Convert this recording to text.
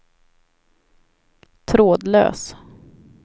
trådlös